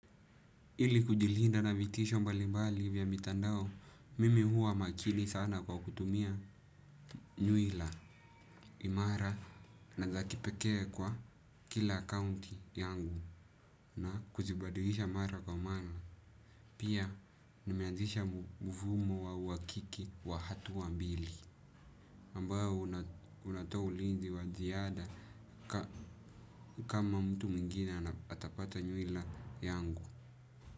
Ili kujilinda na vitisho mbali mbali vya mitandao, mimi huwa makini sana kwa kutumia nyuila imara na za kipekee kwa kila akaunti yangu na kuzibadilisha mara kwa mara. Pia nimeanzisha mfumo wa uakiki wa hatua mbili ambayo unatao ulinzi wa ziada ka. Kama mtu mwingine atapata nyuila yangu.